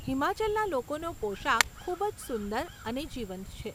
હિમાચલના લોકોનો પોશાક ખૂબ જ સુંદર અને જીવંત છે.